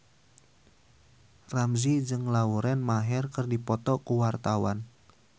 Ramzy jeung Lauren Maher keur dipoto ku wartawan